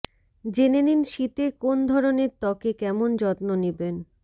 জেনে নিন শীতে কোন ধরনের ত্বকে কেমন যত্ন নিবেন